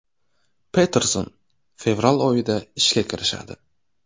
Peterson fevral oyida ishga kirishadi.